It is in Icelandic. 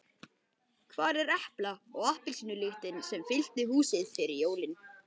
Hvar er epla- og appelsínulyktin sem fyllti húsið fyrir jólin?